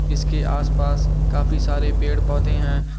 इसके आस-पास काफी सारे पेड़-पौधे है।